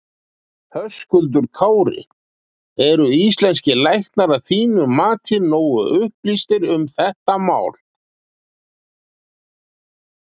Höskuldur Kári: Eru íslenskir læknar að þínu mati nógu upplýstir um þetta mál?